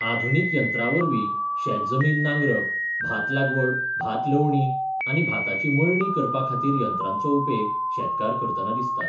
आधुनिक यंत्रा वरवीं शेत जमीन नांगरप, भात लागवड भात लवणी आनी भाताची मळणी करपा खातीर यंत्रांचो उपेग शेतकार करतनां दिसतात.